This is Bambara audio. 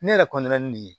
Ne yɛrɛ ni nin ye